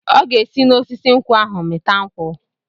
Ọ ga-esi n'osisi nkwụ ahụ mịta nkwụ.